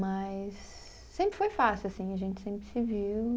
Mas. Sempre foi fácil, assim, a gente sempre se viu.